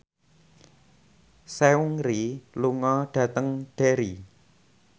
Seungri lunga dhateng Derry